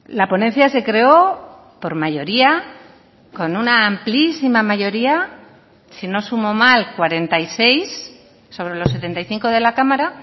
la ponencia se creó por mayoría con una amplísima mayoría si no sumo mal cuarenta y seis sobre los setenta y cinco de la cámara